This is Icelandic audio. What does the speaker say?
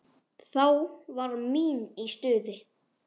Þá var mín í stuði.